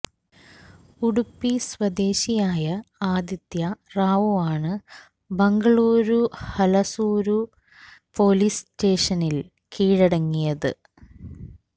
ഉഡുപ്പി സ്വദേശിയായ ആദിത്യ റാവുവാണ് ബംഗളൂരു ഹലസൂരു പൊലീസ് സ്റ്റേഷനില് കീഴടങ്ങിയത്